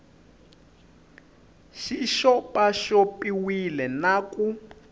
xi xopaxop iwile na ku